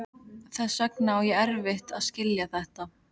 Þess vegna á ég erfitt með að skilja þetta.